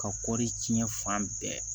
Ka kɔri tiɲɛ fan bɛɛ